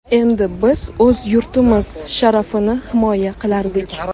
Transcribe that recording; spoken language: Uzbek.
Endi biz o‘z yurtimiz sharafini himoya qilardik.